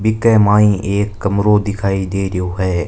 बिक माइ एक कमरों दिखाई दे रयो है।